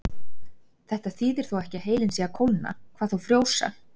Þetta þýðir þó ekki að heilinn sé að kólna, hvað þá frjósa.